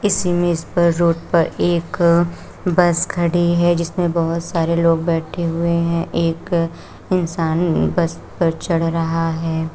Road पर एक bus खड़ी है जिसमें बहुत सारे लोग बैठे हुए हैं एक इंसान में बस पर चढ़ रहा है।